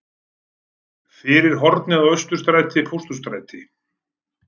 Fyrir hornið á Austurstræti-Pósthússtræti.